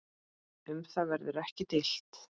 Um það verður ekki deilt.